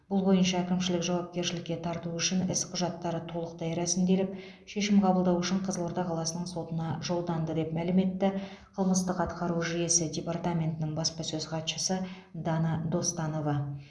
бұл бойынша әкімшілік жауапкершілікке тарту үшін іс құжаттары толықтай рәсімделіп шешім қабылдау үшін қызылорда қаласының сотына жолданды деп мәлім етті қылмыстық атқару жүйесі департаментінің баспасөз хатшысы дана достанова